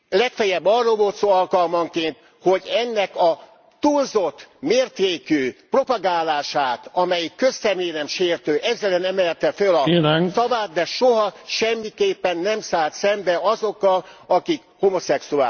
Legfeljebb arról volt szó alkalmanként, hogy ennek a túlzott mértékű propagálását, amelyik közszeméremsértő, ez ellen emelte föl a szavát, de soha, semmiképpen nem szállt szembe azokkal, akik homoszexuálisok.